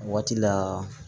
Waati la